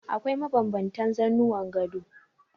Akwai mabanbantan zanuwan gado.